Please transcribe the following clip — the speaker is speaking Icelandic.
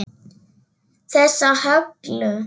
Þessa Höllu!